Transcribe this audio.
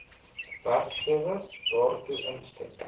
werkgewer daartoe instem